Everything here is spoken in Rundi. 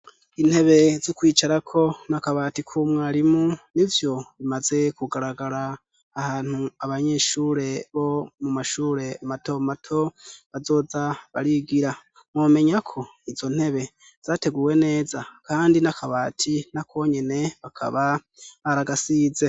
Intebe zo kwicarako n'akabati k'umwarimu nivyo bimaze kugaragara ahantu abanyeshure bo mu mashure mato mato bazoza barigira, mwomenya ko izo ntebe zateguwe neza kandi n'akabati nako nyene bakaba baragasize.